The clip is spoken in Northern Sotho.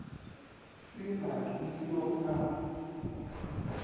se na le yo a